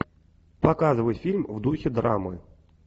показывай фильм в духе драмы